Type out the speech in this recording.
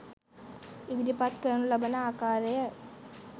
ඉදිරිපත් කරනු ලබන ආකාරය